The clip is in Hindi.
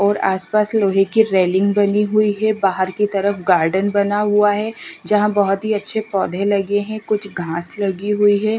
और आसपास लोहे की रेलिंग बनी हुई है बाहर की तरफ गार्डन बना हुआ है जहां बहोत ही अच्छे पौधे लगे हैं कुछ खास लगी हुई है।